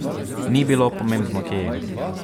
Ni bilo pomembno, kje je.